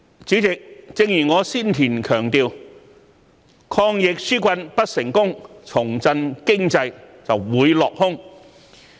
主席，正如我先前所強調，抗疫紓困不成功，重振經濟會落空。